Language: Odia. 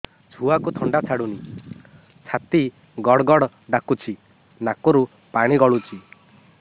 ଛୁଆକୁ ଥଣ୍ଡା ଛାଡୁନି ଛାତି ଗଡ୍ ଗଡ୍ ଡାକୁଚି ନାକରୁ ପାଣି ଗଳୁଚି